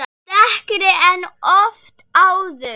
Dekkri en oft áður.